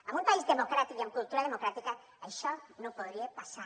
en un país democràtic i amb cultura democràtica això no podria passar